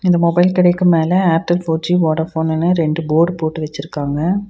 இந்த மொபைல் கடைக்கு மேல ஏர்டெல் ஃபோர்_ஜி வோடஃபோனுன்னு ரெண்டு போர்டு போட்டு வெச்சிருக்காங்க.